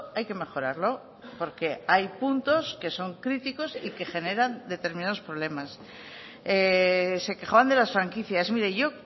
hay que mejorarlo porque hay puntos que son críticos y que generan determinados problemas se quejaban de las franquicias mire yo